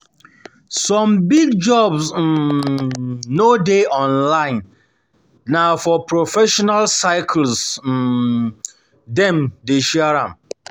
Some big jobs um no dey online, na for professional circles um dem dey share am.